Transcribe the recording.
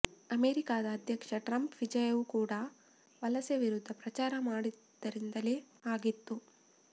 ಅಮೇರಿಕದ ಅಧ್ಯಕ್ಷ ಟ್ರಂಪ್ರ ವಿಜಯವೂ ಕೂಡಾ ವಲಸೆ ವಿರುದ್ಧ ಪ್ರಚಾರ ಮಾಡಿದ್ದರಿಂದಲೇ ಆಗಿತ್ತು